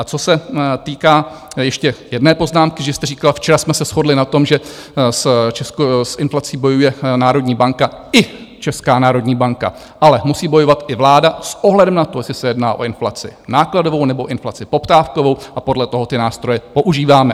A co se týká ještě jedné poznámky, že jste říkal, včera jsme se shodli na tom, že s inflací bojuje národní banka i Česká národní banka, ale musí bojovat i vláda s ohledem na to, jestli se jedná o inflaci nákladovou, nebo inflaci poptávkovou, a podle toho ty nástroje používáme.